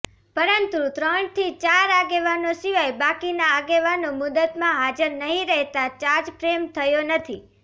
પરંતુ ત્રણથી ચાર આગેવાનો સિવાય બાકીના આગેવાનો મુદતમાં હાજર નહી રહેતાં ચાર્જફ્રેમ થયો નથી